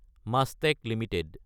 মাষ্টাক Ltd